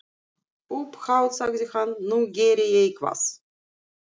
Upphátt sagði hann: Nú geri ég eitthvað.